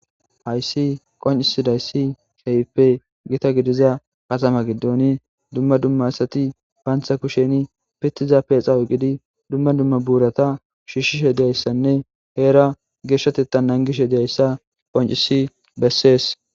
hayssi qoncisidayssi haype gita gidiza katama giddooni dumma dumma asati baantha kusheni pitiza peexa oyqidi dumma dumma buurata shiishshishe diyayssanne heera geeshshatetta nangishe diyayssa qoncisi bessees